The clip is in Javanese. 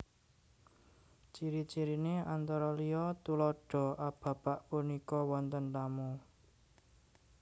Ciri ciriné antara liya Tuladha A Bapak punika wonten tamu